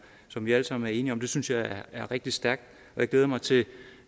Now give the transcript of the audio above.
som vi alle sammen er enige om det synes jeg er rigtig stærkt og jeg glæder mig til